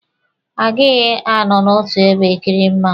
Agighi anọ n'otu ebe e kiri mmụọnwụ.